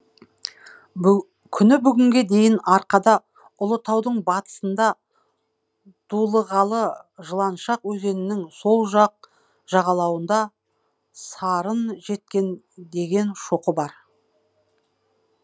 күні бүгінге дейін арқада ұлытаудың батысында дулығалы жыланшық өзенінің сол жақ жағалауында сарын жеткен деген шоқы бар